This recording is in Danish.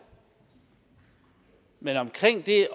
men omkring det